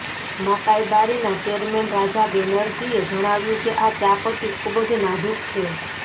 મકાઈબારીના chairman Raja બેનર્જીએ જણાવ્યું કે આ ચા પત્તી ખૂબ જ નાજુક છે